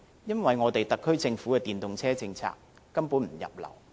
因為特區政府的電動車政策根本不入流。